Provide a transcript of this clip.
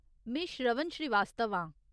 में श्रवन श्रीवास्तव आं।